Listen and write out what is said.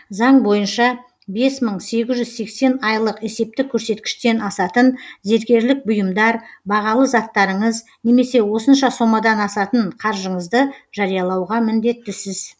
заң бойынша бес мың сегіз жүз айлық есептік көрсеткіштен асатын зергерлік бұйымдар бағалы заттарыңыз немесе осынша сомадан асатын қаржыңызды жариялауға міндеттісіз